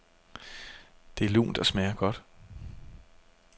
Det er lunt og smager godt.